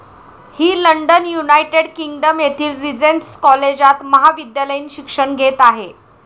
ही London, United Kingdom येथील Regent's कॉलेजात महाविद्यालयीन शिक्षण घेत आहे.